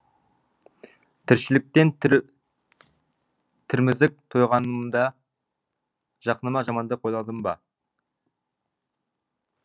тіршіліктен тірмізік тойғанымда жақыныма жамандық ойладым ба